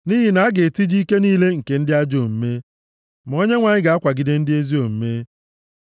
nʼihi na a ga-etiji ike niile nke ndị ajọ omume, ma Onyenwe anyị ga-akwagide ndị ezi omume.